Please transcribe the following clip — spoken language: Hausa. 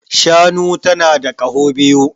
Shanu tana da kaho biyu